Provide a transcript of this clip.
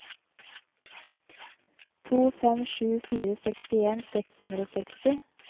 to fem sju fire sekstien seks hundre og seksti